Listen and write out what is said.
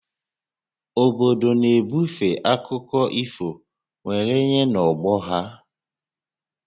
Obodo na-ebufe akụkọ ifo were nye n'ọgbọ ha